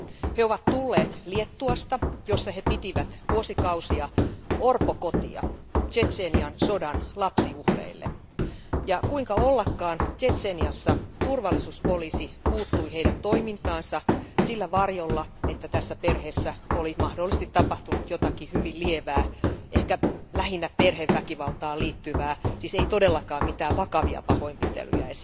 He ovat tulleet Liettuasta, jossa he pitivät vuosikausia orpokotia Tšetšenian sodan lapsiuhreille, ja kuinka ollakaan, Tšetšeniassa turvallisuuspoliisi puuttui heidän toimintaansa sillä varjolla, että tässä perheessä oli mahdollisesti tapahtunut jotakin hyvin lievää, ehkä lähinnä perheväkivaltaan liittyvää, ei siis todellakaan mitään esimerkiksi vakavia pahoinpitelyjä.